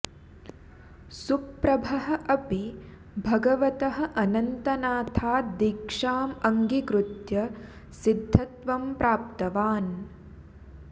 सुप्रभः अपि भगवतः अनन्तनाथात् दीक्षाम् अङ्गीकृत्य सिद्धत्वं प्राप्तवान्